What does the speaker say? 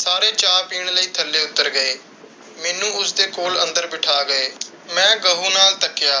ਸਾਰੇ ਚਾਅ ਪੀਣ ਲਈ ਥੱਲੇ ਉੱਤਰ ਗਏ। ਮੈਨੂੰ ਉਸ ਦੇ ਕੋਲ ਅੰਦਰ ਬਿਠਾ ਗਏ। ਮੈਂ ਗਹੁ ਨਾਲ ਤੱਕਿਆ